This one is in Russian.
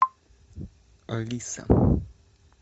алиса